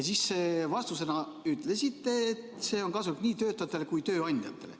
Te vastuses ütlesite, et see on kasulik nii töötajatele kui ka tööandjatele.